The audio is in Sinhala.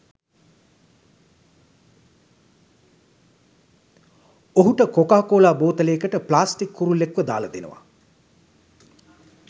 ඔහුට කොකාකෝලා බෝතලයකට ප්ලාස්ටික් කුරුල්ලෙක්ව දාල දෙනවා